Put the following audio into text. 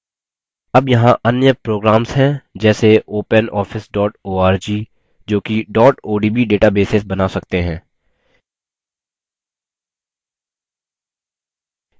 अब यहाँ अन्य programs हैं जैसे openoffice org जोकि odb detabases now सकते हैं